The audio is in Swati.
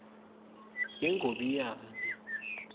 yengobiyane